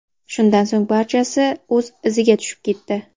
Shundan so‘ng barchasi o‘z iziga tushib ketdi.